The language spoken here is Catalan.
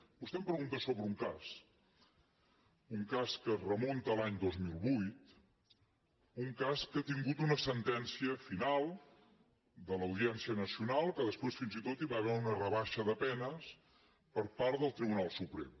vostè em pregunta sobre un cas un cas que es remunta a l’any dos mil vuit un cas que ha tingut una sentència final de l’audiència nacional que després fins i tot hi va haver una rebaixa de penes per part del tribunal suprem